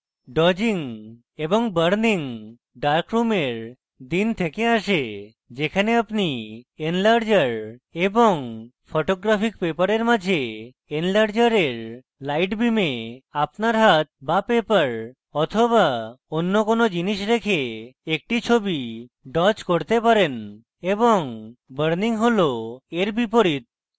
dodging এবং burning term dark রুমের দিন থেকে আসে যেখানে আপনি enlarger এবং photographic paper মাঝে এন্লার্জারের light beam আপনার হাত বা paper বা অন্য কোনো জিনিস রেখে একটি ছবি dodge করতে পারেন এবং burning হল এর বিপরীত